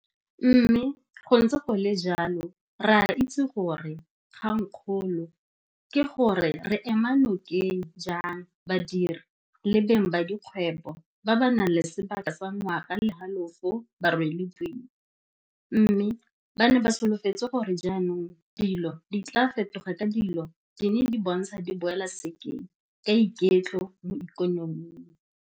Mme go ntse go le jalo re a itse gore kgangkgolo ke gore re ema nokeng jang badiri le beng ba dikgwebo ba ba nang le sebaka sa ngwaga le halofo ba rwele boima, mme ba ne ba solofetse gore jaanong dilo di tla fetoga ka dilo di ne di bontsha di boela sekeng ka iketlo mo ikonoming.